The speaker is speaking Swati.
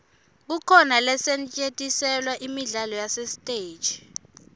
kukhona losetjentiselwa imidlalo yasesiteji